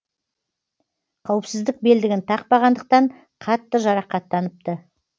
қауіпсіздік белдігін тақпағандықтан қатты жарақаттаныпты